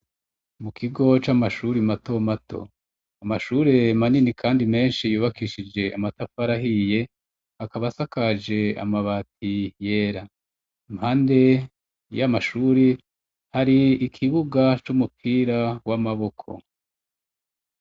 Mu kigo c'amashure matomato. Amashure manini Kandi menshi yubakishije amatafari ahiye, akaba asakaje amabati yera. Impande y'amashure, hari ikibuga c'umupira w'amaboko.